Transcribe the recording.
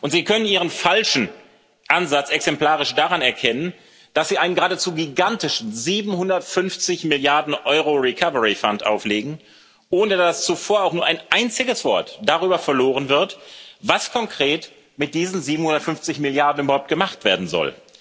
Sie können Ihren falschen Ansatz exemplarisch daran erkennen, dass Sie einen geradezu gigantischen 750 Milliarden Euro umfassenden Recovery Fund auflegen, ohne dass zuvor auch nur ein einziges Wort darüber verloren wird, was konkret mit diesen 750 Milliarden überhaupt gemacht werden soll.